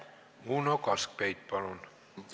Uno Kaskpeit, palun!